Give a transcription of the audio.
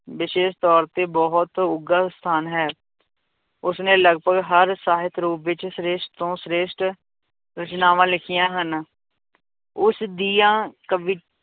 ਵਿਸ਼ੇਸ਼ ਤੌਰ ਤੇ ਬਹੁਤ ਉੱਘਾ ਸਥਾਨ ਹੈ ਉਸਨੇ ਲਗਪਗ ਹਰ ਸਾਹਿਤ ਰੂਪ ਵਿੱਚ ਸ੍ਰੇਸ਼ਟ ਤੋਂ ਸ੍ਰੇਸ਼ਟ ਰਚਨਾਵਾਂ ਲਿਖੀਆਂ ਹਨ, ਉਸਦੀਆਂ ਕਵੀ